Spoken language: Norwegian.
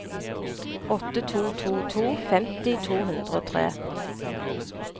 åtte to to to femti to hundre og tre